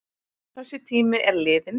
Þessi tími er liðinn.